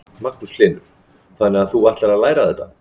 Magnús Hlynur: Þannig að þú ætlar að læra þetta?